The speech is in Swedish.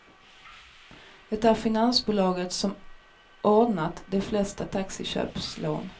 Det är finansbolaget som ordnat de flesta taxiköpslån.